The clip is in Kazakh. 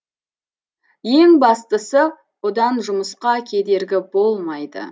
ең бастысы бұдан жұмысқа кедергі болмайды